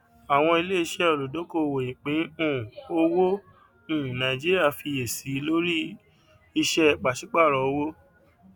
àwọn ilé iṣẹ olùdókòwò ìpín um owó um nàìjíríà fiyèsí lórí iṣẹ pàṣípàrọ owó